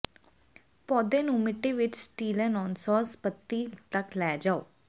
ਪੌਦੇ ਨੂੰ ਮਿੱਟੀ ਵਿੱਚ ਸਟੀਲੇਨੌਨਸੌਨਸ ਪੱਤੀ ਤੱਕ ਲੈ ਜਾਓ